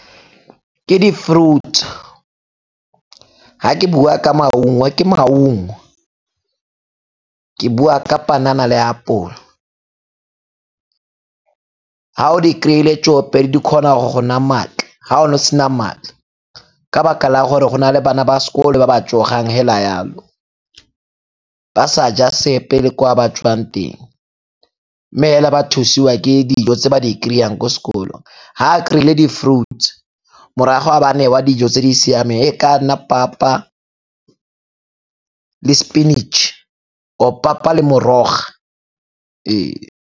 Ke di-fruit, ga ke bua ka maungo ke maungo, ke bua ka panana le apole. Ga o di kry-ile tsoopedi di kgona go go naya maatla, ga o ne o sena maatla ka 'baka la gore go na le bana ba sekolo ba ba tsogang hela yalo, ba sa ja sepe le kwa ba tswang. Mme hela ba thusiwa ke dijo tse ba di kry-ang ko sekolong, ha a kry-ile di-fruits-e morago a ba a newa dijo tse di siameng e ka nna papa le sepinatšhe, or papa le morogo ee.